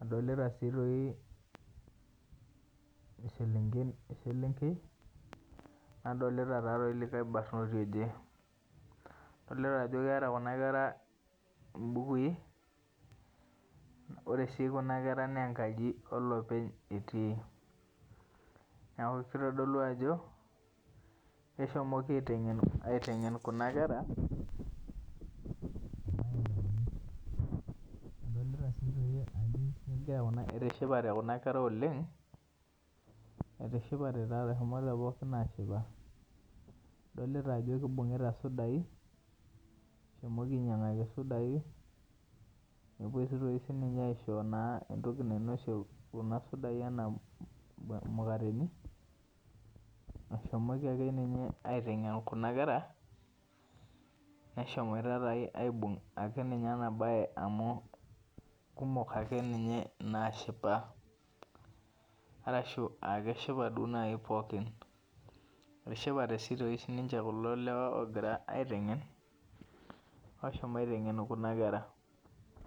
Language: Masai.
adolita si selenken nadolta likae barnoti oje nadolta kuna kera ajo keeta mbukui ore si kuna kera na enkaji olopeny etii neaku kitodolu ajo keshomoko aitengen kuna kera, adolita si ajo etishipate kuna kera oleng etishapate eshomo pooki ashipa, adolta ajo ibungita sudai eshomoki ainyangaki sudai nepuoi aisho entoki nainosie ana mukateni, eshomoki akeenye aitengen kunakera neshomoita taa aibung enabae amu kumok akeenye nashipa , etishipate sinche kulo lewa ogira aitengen oshomo aitengen kuna kera.